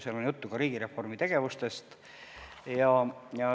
Seal on juttu ka riigireformi tegevustest.